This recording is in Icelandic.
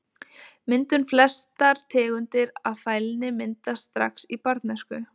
Myndun Flestar tegundir af fælni myndast strax í barnæsku.